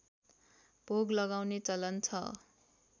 भोग लगाउने चलन छ